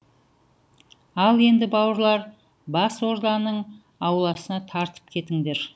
ал енді бауырлар бас орданың ауласына тартып кетіңдер